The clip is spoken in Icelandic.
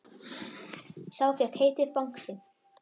Sá fékk heitið Bangsi.